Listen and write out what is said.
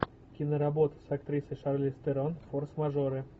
киноработа с актрисой шарлиз терон форс мажоры